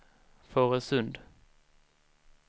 Fårösund